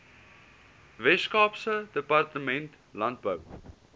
weskaapse departement landbou